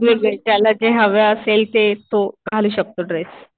असे वेगवेगळे. ज्याला जे हवे असेल ते तो घालू शकतो ड्रेस.